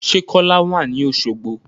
Sẹ́ Kọ́lá wà ní Oṣogbo?